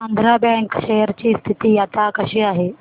Andhra bank share ची स्थिती आता कशी आहे